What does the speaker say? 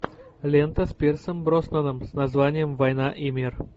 лента с пирсом броснаном с названием война и мир